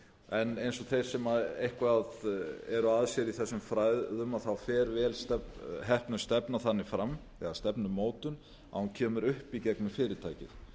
en eins og þeir sem eitthvað eru að sér í þessum fræðum fer vel heppnuð stefna þannig fram eða stefnumótun að hún kemur upp í gegnum fyrirtækið